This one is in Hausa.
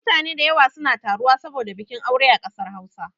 Mutane da yawa suna taruwa saboda bikin aure a kasar Hausa